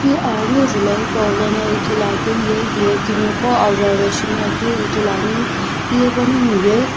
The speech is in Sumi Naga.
hi aghungu julhou hipaulono ithuluakeu ye hiye timi qo ajo ajo shi ngoakeu ithuluani hiye panongu ye.